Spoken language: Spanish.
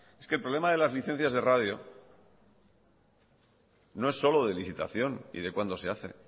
es que el problema de las licencias de radio no es solo de licitación y de cuando se hace